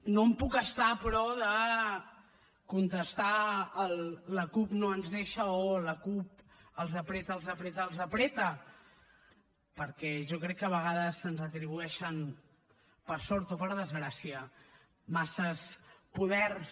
no em puc estar però de contestar al la cup no ens deixa o la cup els apreta els apreta els apreta perquè jo crec que a vegades se’ns atribueixen per sort o per desgràcia massa poders